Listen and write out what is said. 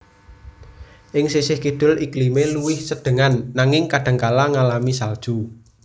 Ing sisih kidul iklimé luwih sedhengan nanging kadhangkala ngalami salju